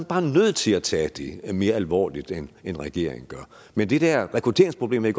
bare nødt til at tage det mere alvorligt end regeringen gør men det der rekrutteringsproblem vil